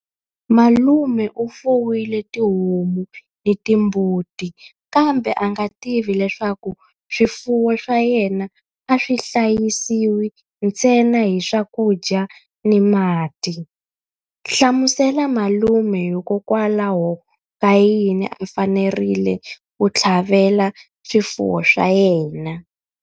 Malume u fuwile tihomu ni timbuti kambe a nga tivi leswaku swifuwo swa yena a swi hlayisiwi ntsena hi swakudya ni mati. Hlamusela malume hikokwalaho ka yini a fanerile ku tlhavela swifuwo swa yena.